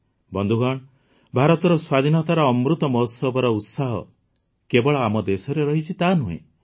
ବନ୍ଧୁଗଣ ଭାରତର ସ୍ୱାଧୀନତାର ଅମୃତ ମହୋତ୍ସବର ଉତ୍ସାହ କେବଳ ଆମ ଦେଶରେ ରହିଛି ତାହା ନୁହେଁ